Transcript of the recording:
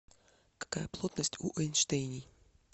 какая плотность у эйнштейний